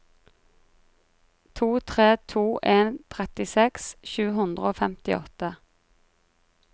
to tre to en trettiseks sju hundre og femtiåtte